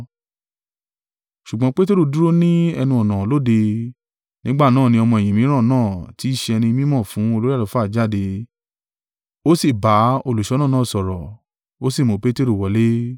Ṣùgbọ́n Peteru dúró ní ẹnu-ọ̀nà lóde. Nígbà náà ni ọmọ-ẹ̀yìn mìíràn náà tí í ṣe ẹni mí mọ̀ fún olórí àlùfáà jáde, ó sì bá olùṣọ́nà náà sọ̀rọ̀, ó sì mú Peteru wọlé.